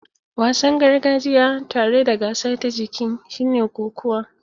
Wasan gargajiya tare da gasa ta jiki shine kokuwa.